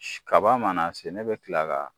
Kaba mana se ne bɛ tila ka